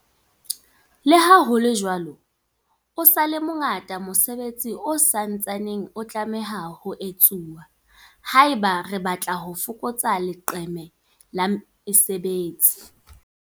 Leha ho le jwalo, o sa le mo ngata mosebetsi o sa ntsaneng o tlameha ho etsuwa haeba re batla ho fokotsa leqeme la mesebetsi.